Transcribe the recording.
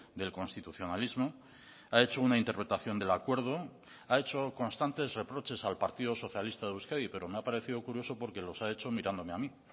del constitucionalismo ha hecho una interpretación del acuerdo ha hecho constantes reproches al partido socialista de euskadi pero me ha parecido curioso porque los ha hecho mirándome a mí